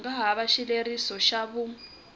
nga hava xileriso xa vun